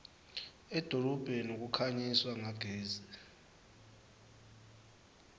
edolobheni kukhanyiswa ngagesi